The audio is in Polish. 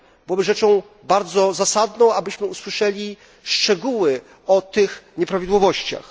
Byłoby rzeczą bardzo zasadną, abyśmy usłyszeli szczegóły o tych nieprawidłowościach.